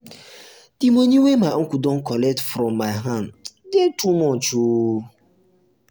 di moni wey my uncle don collect from my hand dey too much o.